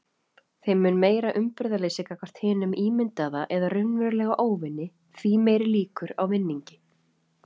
Þeim mun meira umburðarleysi gagnvart hinum ímyndaða eða raunverulega óvini, því meiri líkur á vinningi.